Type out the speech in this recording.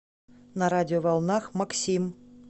на радиоволнах максим